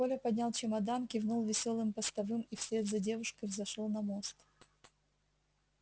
коля поднял чемодан кивнул весёлым постовым и вслед за девушкой взошёл на мост